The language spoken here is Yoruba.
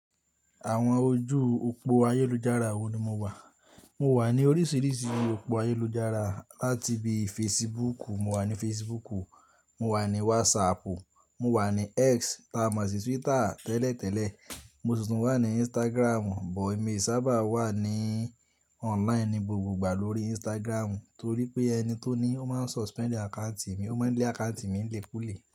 Àwọn ojú òpó ayélujára wo ni mo wà? Mo wà ní oríṣiríṣi òpó ayélujára, láti bi Facebook, mo wà ní Facebook, mo wà ní WhatsApp, mo wà ní X taọ má sì Twitter tẹ́lẹ̀ tẹ́lẹ̀, mo si tun wà ní Instagram, bọ̀ èmi e sábà wà ní online ní gbogbogbà lórí Instagram, torí pé ẹni tó ní ó máa suspend àccounti mi, ó máa ń lé àccountì mi nilekúle.